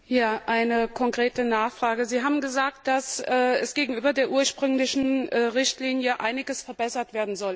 Eine konkrete Nachfrage Sie haben gesagt, dass gegenüber der ursprünglichen Richtlinie einiges verbessert werden soll.